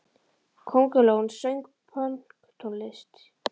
Köngulóin söng pönktónlist!